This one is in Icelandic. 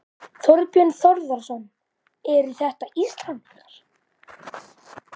Þorbjörn Þórðarson: Eru þetta Íslendingar?